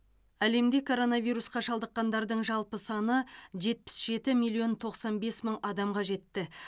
әлемде коронавирусқа шалдыққандардың жалпы саны жетпіс жеті миллион тоқсан бес мың адамға жетті